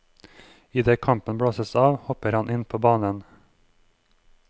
Idet kampen blåses av, hopper han inn på banen.